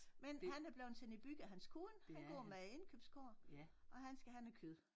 Men han er bleven sendt i byen af hans kone han går med indkøbskurv og han skal have noget kød